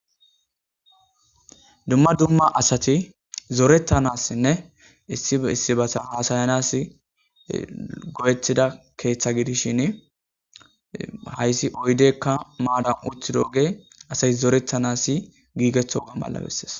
Dumma dumma asati zorettanassinne issiissibasan hasayanas go7ettida keeththa gidishin hayssi oydeykka maadan uti dooge asati zoretanasi giigeththoga malabessees